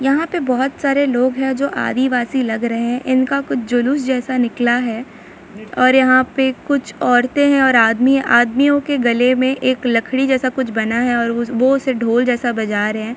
यहां पे बहुत सारे लोग हैं जो आदिवासी लग रहे हैं इनका कुछ जुलूस जैसा निकला है और यहाँ पे कुछ औरते है और आदमीआदमियों के गले में एक लकड़ी जैसा कुछ बना है और वो उससे ढोल जैसा बजा रहे हैं।